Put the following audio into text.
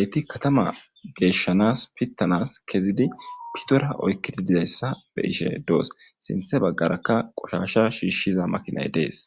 eyti katama geeshshanas pittanas kezidi pitora oykkidi dizayssa be ishe doos sinthe baggaraka qoshasha shiishshiza makinay dees.